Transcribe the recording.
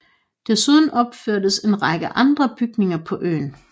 Desuden opførtes en række andre bygninger på øen